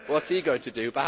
What is he going to do?